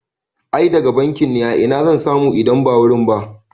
I daga bankin ne, a ina zan samu idan ba wurin ba?